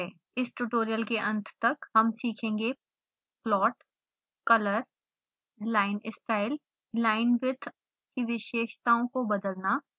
इस ट्यूटोरियल के अंत तक हम सीखेंगे plot color line style linewidth की विशेषताओं को बदलना